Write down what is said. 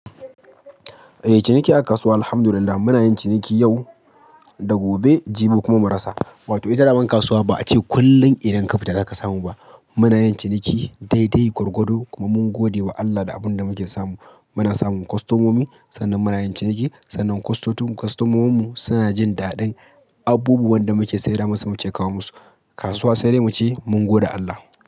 Eh, ciniki a kasuwa alhamdulillah muna yin ciniki yau, da gobe, jibi kuma marasa. Wato ita dama kasuwa ba a ce kullum idan ka fita zaka samu ba. Muna yin ciniki dai dai gwargwado kuma mun gode wa Allah da abin da muke samu. Muna samun kostomomi sannan muna yin ciniki sannan kostomominmu suna jin daɗin abubuwan da muke sayarwa masu muke kawo musu. Kasuwa sai dai mu ce mun gode Allah.